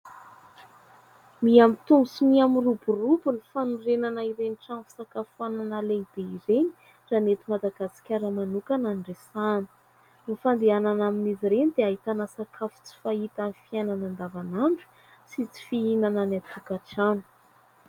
Miha-mitombo sy miroborobo ny fanorenana ireny trano fisakafoanana lehide ireny ra ny eto madagasikara manokana no resahana. Ny fandehanana amin'izy ireny dia ahitana sakafo tsy fahita amin'ny fiainana andavan'andro sy tsy fihinana any an-tokatrano.